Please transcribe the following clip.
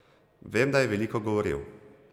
Vem, da je veliko govoril.